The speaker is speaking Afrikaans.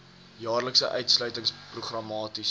jaarlikse uitsluiting programmaties